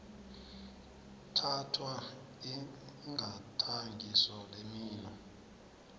thathwa igadangiso lemino